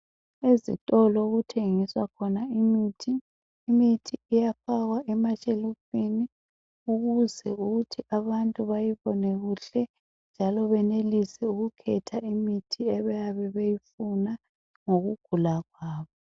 Ezitolo okuthengiswa khona imithi, imithi iyafakwa emashelufini ukuze ukuthi abantu bayibone kuhle njalo benelise ukukhetha imithi ebayabe beyifuna ngokugula kwabo.